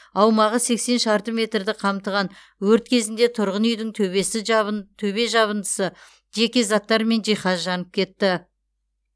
аумағы сексен шарты метрді қамтыған өрт кезінде тұрғын үйдің төбесі жабын төбе жабындысы жеке заттар мен жиһаз жанып кетті